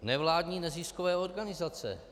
Nevládní neziskové organizace.